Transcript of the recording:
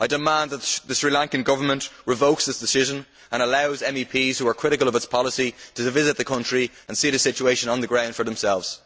I demand that the Sri Lankan Government revokes this decision and allow MEPs who are critical of its policy to visit the country and see the situation on the ground for themselves.